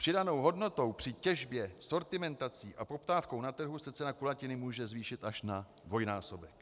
Přidanou hodnotou při těžbě, sortimentací a poptávkou na trhu se cena kulatiny může zvýšit až na dvojnásobek.